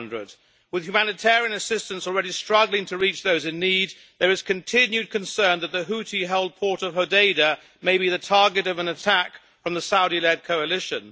800. With humanitarian assistance already struggling to reach those in need, there is continued concern that the Houthi-held port of Hodeidah may be the target of an attack on the Saudi led coalition.